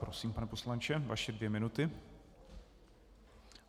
Prosím, pane poslanče, vaše dvě minuty.